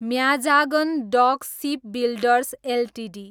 Mazagon dock shipbuilders Ltd